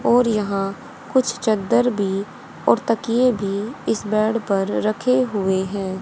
और यहां कुछ चद्दर भी और तकिए भी इस बेड पर रखे हुए हैं।